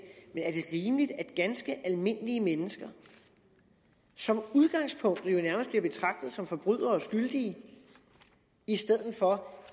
ganske almindelige mennesker som udgangspunkt jo nærmest bliver betragtet som forbrydere og skyldige i stedet for